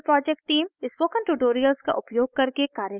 spoken tutorials का उपयोग करके कार्यशालाएं चलाती है